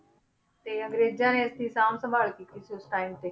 ਤੇ ਅੰਗਰੇਜ਼ਾਂ ਨੇ ਇਸਦੀ ਸਾਂਭ ਸੰਭਾਲ ਕੀਤੀ ਸੀ ਉਸ time ਤੇ